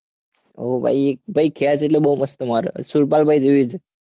હા ભાઈ ખેંચ એટલે બઉ મસ્ત મારે હો સુરપાલ ભાઈ જેવી જ